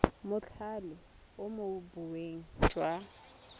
mothale o mo boemong jwa